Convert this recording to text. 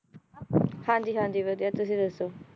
ਹਾਂ ਜੀ ਹਾਂ ਜੀ ਵਧੀਆ ਤੁਸੀ ਦੱਸੋ?